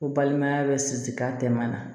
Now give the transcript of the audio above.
Ko balimaya bɛ siri ka den man na